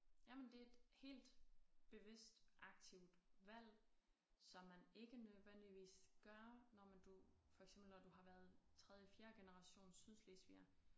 Jamen det et helt bevidst aktivt valg som man ikke nødvendigvis gør når men du for eksempel når du har været tredje fjerde generations sydslesviger